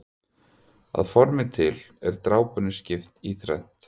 Að formi til er drápunni skipt í þrennt.